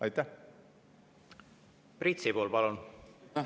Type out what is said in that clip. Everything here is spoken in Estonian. Priit Sibul, palun!